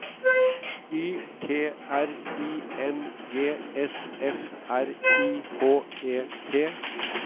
Y T R I N G S F R I H E T